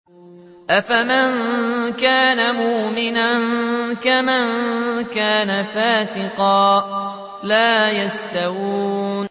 أَفَمَن كَانَ مُؤْمِنًا كَمَن كَانَ فَاسِقًا ۚ لَّا يَسْتَوُونَ